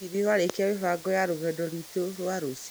Hihi nĩ ũrarĩkia mĩbango ya rũgendo rwitũ rwa rũciũ?